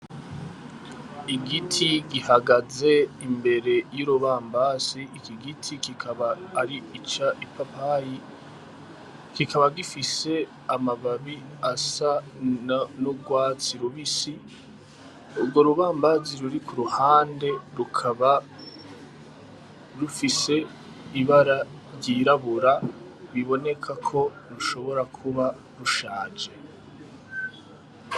Igiti gihagaze imbere y'urubambasi, iki giti kikaba ari c'ipapayi kikaba gifise amababi asa n'urwatsi rubisi, urwo rubambazi ruri kuruhande rukaba rufiise ibara ry'irabura biboneka ko rushobora kuba rushaje.